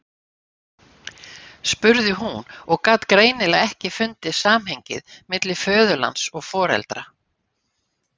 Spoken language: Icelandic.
spurði hún og gat greinilega ekki fundið samhengið milli föðurlands og foreldra.